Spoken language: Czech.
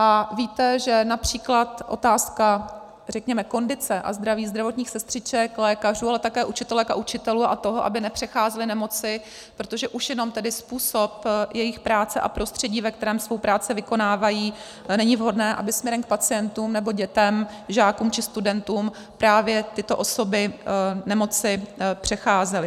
A víte, že například otázka, řekněme, kondice a zdraví zdravotních sestřiček, lékařů, ale také učitelek a učitelů a toho, aby nepřecházeli nemoci, protože už jenom tedy způsob jejich práce a prostředí, ve kterém svou práci vykonávají, není vhodné, aby směrem, k pacientům nebe dětem, žákům či studentům právě tyto osoby nemoci přecházely.